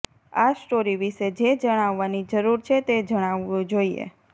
આ સ્ટોરી વિશે જે જણાવવાની જરૂર છે તે જણાવવું જોઈએ